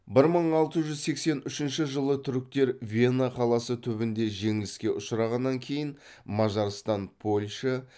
бір мың алты жүз сексен үшінші жылы түріктер вена қаласы түбінде жеңіліске ұшырағаннан кейін мажарстан польша